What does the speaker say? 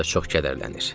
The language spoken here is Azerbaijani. Liza çox kədərlənir.